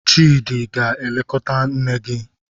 Chidi, ị ga-elekọta nne gi!